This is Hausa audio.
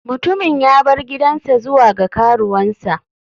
Mutumin ya bar gidansa zuwa ga karuwansa.